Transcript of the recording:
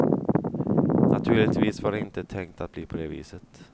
Naturligtvis var det inte tänkt att bli på det viset.